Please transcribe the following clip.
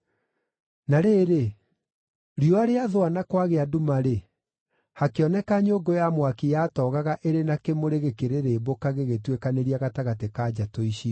Na rĩrĩ, riũa rĩathũa na kwagĩa nduma-rĩ, hakĩoneka nyũngũ ya mwaki yatoogaga ĩrĩ na kĩmũrĩ gĩkĩrĩrĩmbũka gĩgĩtuĩkanĩria gatagatĩ ka njatũ icio.